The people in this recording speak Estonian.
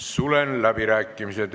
Sulen läbirääkimised.